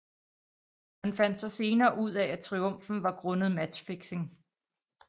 Man fandt så senere ud af at triumfen var grundet matchfixing